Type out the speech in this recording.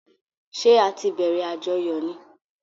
Ṣẹ́ á tí bẹ̀rẹ̀ àjọyọ̀ ni?